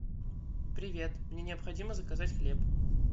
привет мне необходимо заказать хлеб